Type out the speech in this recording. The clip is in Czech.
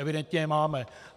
Evidentně je máme.